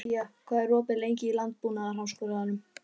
Gía, hvað er opið lengi í Landbúnaðarháskólanum?